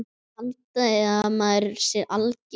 Haldiði að maður sé alger!